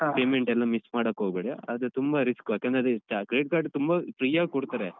Payment ಎಲ್ಲ miss ಮಾಡೋಕೋಗ್ಬೇಡಿ ಅದು ತುಂಬ risk ಯಾಕಂದ್ರೆ ಅದು Credit Card ತುಂಬ free ಯಾಗ್ ಕೊಡ್ತಾರೆ.